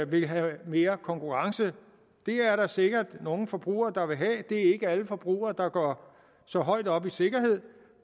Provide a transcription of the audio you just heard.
vil have mere konkurrence det er der sikkert nogle forbrugere der gerne vil have det er ikke alle forbrugere der går så højt op i sikkerhed